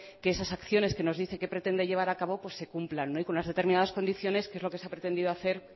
que esas acciones que nos dice que pretende llevar a cabo pues se cumplan y con unas determinadas condiciones que es lo que se ha pretendido hacer